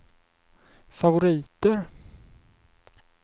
favoriter